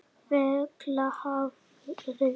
Fellahvarfi